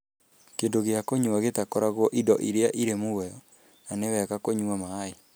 Kĩndũ gĩa kũnyua gĩtagakoragwo indo iria irĩ muoyo, na nĩ wega kũnyua maĩ.